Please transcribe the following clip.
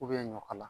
U bɛ ɲɔ kala